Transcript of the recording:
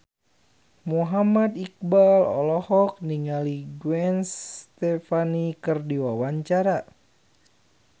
Muhammad Iqbal olohok ningali Gwen Stefani keur diwawancara